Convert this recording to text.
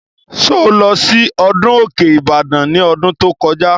Sọ lọ sí ọdún Òkè Ìbàdàn ní ọdún tó kọjá?